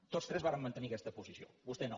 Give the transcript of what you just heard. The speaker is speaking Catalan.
tots tres vàrem mantenir aquesta posició vostè no